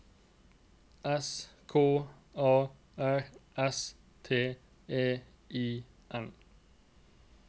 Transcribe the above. S K A R S T E I N